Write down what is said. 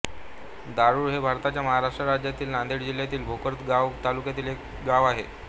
दाऊर हे भारताच्या महाराष्ट्र राज्यातील नांदेड जिल्ह्यातील भोकर गाव तालुक्यातील एक गाव आहे